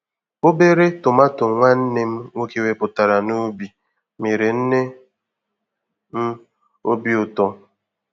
Obere tomato nwanne m nwoke wepụtara n'ubi mere nne m obi ụtọ.